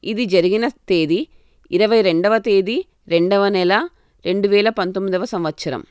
ఇది జరిగిన తేదీ ఇరవై రెండవ తేదీ రెండవ నెల రెండువేల పంతొమిదవ సంవత్సరం.